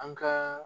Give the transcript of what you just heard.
An ka